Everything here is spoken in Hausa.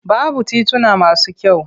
Babu tituna masu kyau.